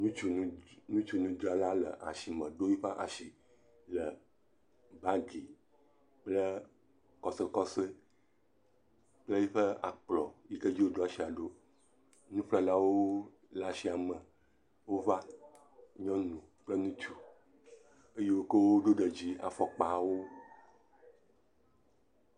Ŋutsu nu ŋutsu nudzrala le asime ɖo yiƒe asi le bagi kple kɔsɔkɔsɔ kple yiƒe akplɔ yike dzi woɖo asi ɖo. Nuƒlelawo le asiame wova. Nyɔnu kple ŋutsu eye wo ke woɖe dzi afɔkpawo.